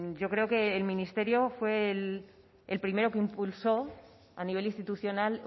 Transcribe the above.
yo creo que el ministerio fue el primero que impulsó a nivel institucional